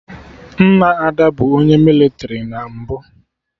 Nna Ada bụ onye mịlịtrị na mbụ